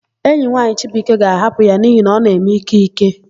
Enyi nwaanyị Chibuike ga-ahapụ ya n'ihi na ọ na-eme ìké ìké.